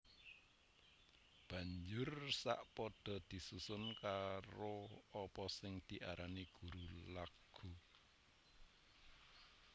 Banjur sa padha disusun karo apa sing diarani guru laghu